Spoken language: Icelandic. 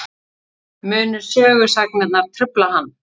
Munu sögusagnirnar trufla hann?